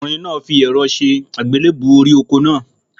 Ọkùnrin náà fi èro se lílébú orí oko náà